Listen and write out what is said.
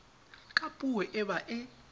ka puo e ba e